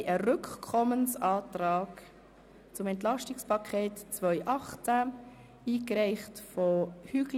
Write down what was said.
Es liegt ein Rückkommensantrag betreffend das EP 2018 vor, eingereicht von Grossrat Hügli